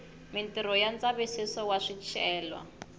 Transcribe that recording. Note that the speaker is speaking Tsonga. mitirho ya ndzavisiso wa swicelwa